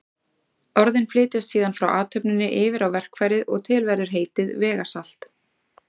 Orðin flytjast síðan frá athöfninni yfir á verkfærið og til verður heitið vegasalt.